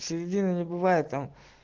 середина не бывает там